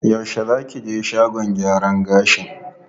Yaushe za ki je shagon gyaran gashin?